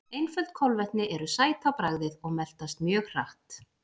Einföld kolvetni eru sæt á bragðið og meltast mjög hratt.